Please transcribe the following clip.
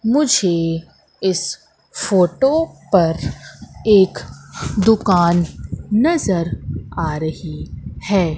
मुझे इस फोटो पर एक दुकान नजर आ रही है।